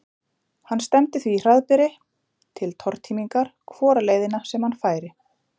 Hann stefndi því hraðbyri til tortímingar hvora leiðina sem hann færi.